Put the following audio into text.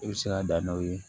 I bɛ se ka dan n'aw ye